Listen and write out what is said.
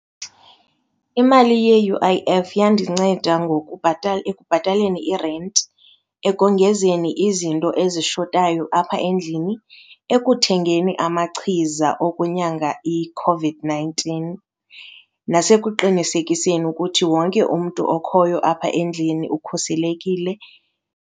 Imali ye-U_I_F yandinceda ekubhataleni irenti, ekongezeni izinto ezishotayo apha endlini, ekuthengeni amachiza okunyanga iCOVID-nineteen nasekuqinisekiseni ukuthi wonke umntu okhoyo apha endlini ukhuselekile.